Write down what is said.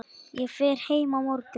Ég fer heim á morgun.